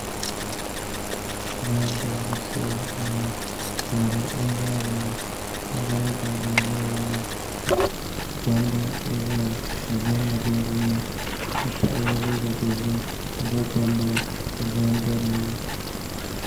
Zaham gbahabu shee n bɔŋɔ ŋarim n ʒɛya ŋɔ paɣaba ni dabba n ʒɛya ŋɔ gbambili n ʒɛya ka zahama bɛ dinni ka paɣa yɛ liiga dozim n gbubi gbambila ka zaham bɛ dinni